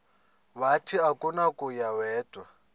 wathi akunakuya wedw